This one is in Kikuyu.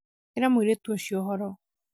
ĩra mũirĩtu ũcio ũhoro